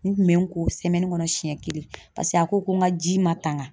N kun bɛ n ko kɔnɔ siɲɛ kelen paseke a ko ko n ka ji ma tanka